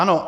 Ano.